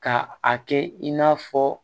Ka a kɛ in n'a fɔ